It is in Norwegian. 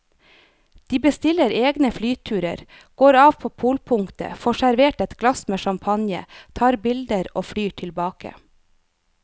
De bestiller egne flyturer, går av på polpunktet, får servert et glass med champagne, tar bilder og flyr tilbake.